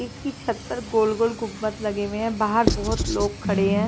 इसकी छत पर गोल गोल गुव्वत लगे हुए है बाहर बहुत लोग खड़े है।